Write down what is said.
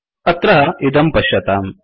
अत्र इदं पश्यताम्